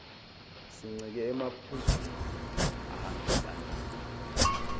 sincike emaphuzwini ahambisana